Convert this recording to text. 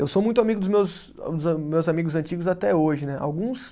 Eu sou muito amigo dos meus a, meus amigos antigos até hoje, né? Alguns